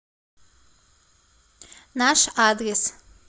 наш адрес